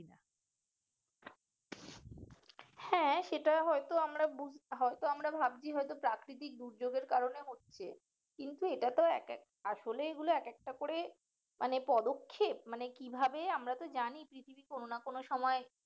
হ্যাঁ সেটা হয়তো আমরা বুঝ হয়তো আমরা ভাবছি হয়তো প্রাকৃতিক দুর্যোগের কারণে হচ্ছে কিন্তু এটা তো এক এক আসলে এগুলো এক একটা করে মানে পদক্ষেপ মানে কিভাবে আমরা তো জানি পৃথিবী কোনো না কোনো সময়